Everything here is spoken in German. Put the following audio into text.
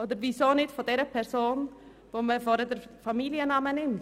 Oder weshalb nicht von derjenigen Person, die den Familiennamen beisteuert?